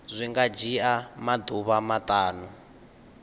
zwi nga dzhia maḓuvha maṱanu